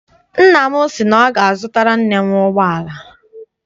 Nna m si na ọ ga- azutara nne m ụgbọala.